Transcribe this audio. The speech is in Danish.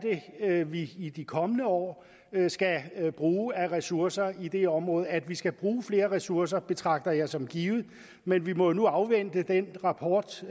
vi i de kommende år skal bruge af ressourcer i det område at vi skal bruge flere ressourcer betragter jeg som givet men vi må jo nu afvente den rapport